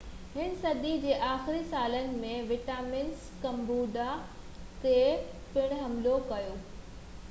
18هين صدي جي آخري سالن ۾ ويٽناميز ڪمبوڊيا تي پڻ حملو ڪيو